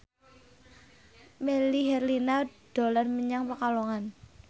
Melly Herlina dolan menyang Pekalongan